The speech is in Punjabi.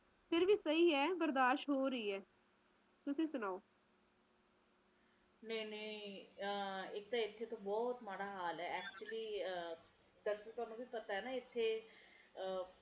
ਫਿਰ ਵੀ ਸਹੀ ਐ ਬਰਦਾਸ਼ਤ ਹੋ ਰਹੀ ਐ ਤੁਸੀ ਸੁਣਾਓ ਨਹੀਂ-ਨਹੀਂ ਆਹ ਇਥੇ ਤਾ ਬਹੁਤ ਮਾੜਾ ਹਾਲ ਐ actually ਅਹ ਵੈਸੇ ਤੁਹਾਨੂੰ ਵੀ ਪਤਾ ਹੈ ਨਾ ਇਥੇ ਅਹ